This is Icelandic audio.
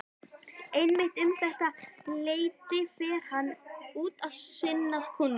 Einmitt um þetta leyti fer hann út að sinna kúnum.